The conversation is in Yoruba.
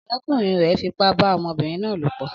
Ọ̀rẹ́kùnrin rẹ̀ fipá bá ọmọbìnrin náà lòpọ̀